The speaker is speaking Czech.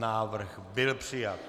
Návrh byl přijat.